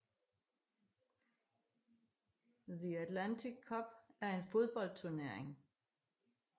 The Atlantic Cup er en fodboldturnering